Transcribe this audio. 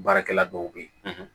Baarakɛla dɔw bɛ yen